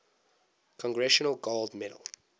congressional gold medal